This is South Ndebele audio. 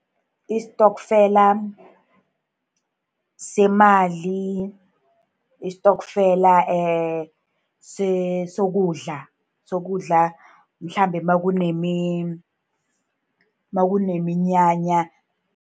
Istokfela semali, istokfela sokudla, sokudla mhlambe nakuneminyanya.